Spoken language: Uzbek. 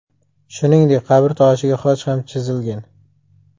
Shuningdek, qabrtoshiga xoch ham chizilgan.